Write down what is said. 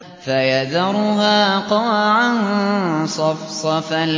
فَيَذَرُهَا قَاعًا صَفْصَفًا